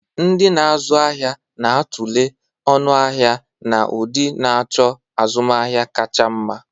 Ndị na-azụ ahịa na-a tulee ọnụ ahịa na ụdị, na-achọ azụmahịa kacha mma.